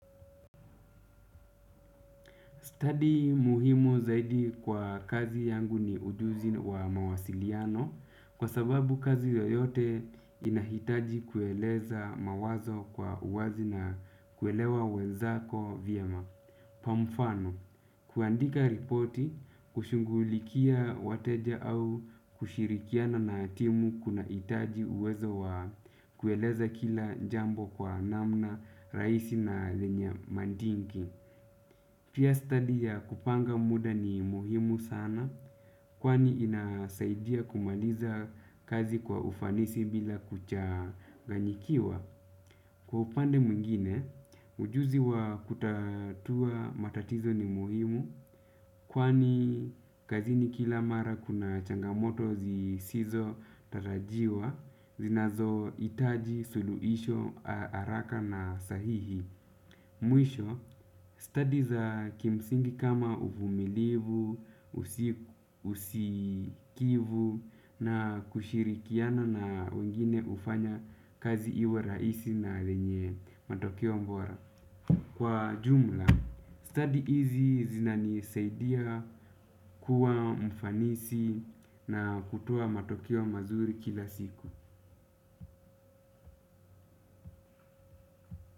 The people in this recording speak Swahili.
Study muhimu zaidi kwa kazi yangu ni ujuzi wa mawasiliano kwa sababu kazi yoyote inahitaji kueleza mawazo kwa uwazi na kuelewa wenzako vyema kwa mfano. Kuandika ripoti, kushughulikia wateja au kushirikiana na timu kunahitaji uwezo wa kueleza kila jambo kwa namna, rahisi na zenya madinki. Pia study ya kupanga muda ni muhimu sana, kwani inasaidia kumaliza kazi kwa ufanisi bila kuchaganyikiwa. Kwa upande mwingine, ujuzi wa kutatua matatizo ni muhimu, kwani kazini kila mara kuna changamoto zisizo tarajiwa zinazohitaji suluhisho, haraka na sahihi. Mwisho, study za kimsingi kama uvumilivu, usikivu na kushirikiana na wengine hufanya kazi iwe rahisi na lenye matokeo bora. Kwa jumla, study hizi zina nisaidia kuwa mfanisi na kutoa matokeo mazuri kila siku.